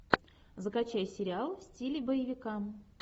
закачай сериал в стиле боевика